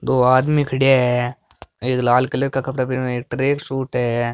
दो आदमी खड़या है एक लाल कलर का कपड़ा पहरया एक ट्रेक सूट है।